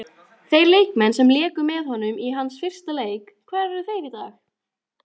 Þeir leikmenn sem léku með honum í hans fyrsta leik, hvar eru þeir í dag?